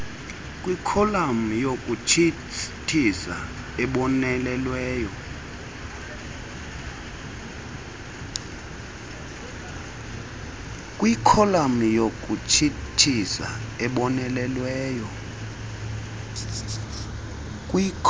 kwikholam yokutshisthisa ebonelelweyo